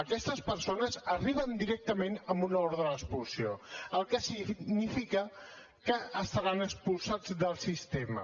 aquestes persones arriben directament amb una ordre d’expulsió el que significa que estaran expulsats del sistema